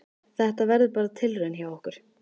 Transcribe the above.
Þetta verður bara tilraun hjá okkur.